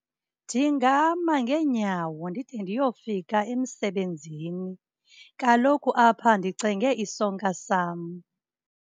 Ndingama ngeenyawo ndide ndiyofika emsebenzini. Kaloku apha ndicenge isonka sam.